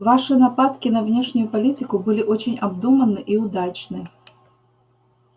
ваши нападки на внешнюю политику были очень обдуманны и удачны